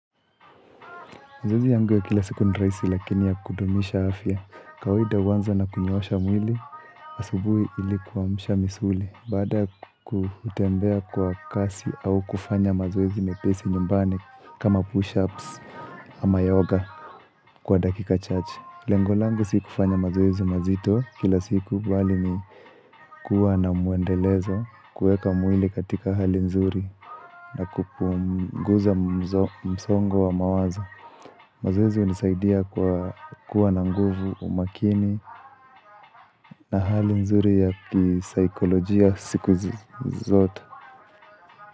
Zoezi yangu ya kila siku ni rahisi lakini ya kudumisha afya. Kawaida huanza na kunyoosha mwili, asubuhi ili kuamsha misuli. Baada ya kutembea kwa kasi au kufanya mazoezi mepesi nyumbani kama push-ups ama yoga kwa dakika chache. Lengo langu si kufanya mazoezi mazito kila siku bali ni kuwa na muendelezo kuweka mwili katika hali nzuri na kupunguza msongo wa mawazo. Mazoezi hunisaidia kwa kuwa na nguvu umakini na hali nzuri ya kisaikolojia siku zote.